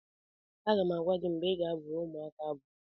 Aga m agwa gị mgbe ị ga-abụrụ ụmụaka abụ